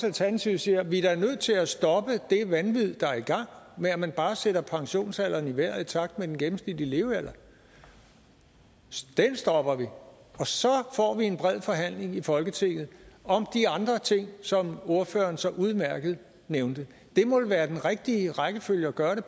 alternativet siger at vi da er nødt til at stoppe det vanvid der er i gang med at man bare sætter pensionsalderen i vejret i takt med den gennemsnitlige levealder det stopper vi og så får vi en bred forhandling i folketinget om de andre ting som ordføreren så udmærket nævnte det må vel være den rigtige rækkefølge at gøre det